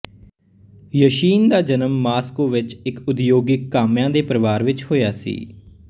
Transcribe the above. Yashin ਦਾ ਜਨਮ Moscow ਵਿਚ ਇਕ ਉਦਯੋਗਿਕ ਕਾਮਿਆਂ ਦੇ ਪਰਿਵਾਰ ਵਿਚ ਹੋਇਆ ਸੀ